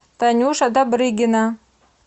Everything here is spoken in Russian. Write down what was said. танюша добрыгина